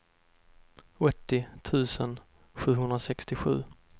åttio tusen sjuhundrasextiosju